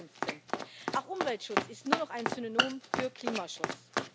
2015. Auch Umweltschutz ist nur noch ein Synonym für Klimaschutz.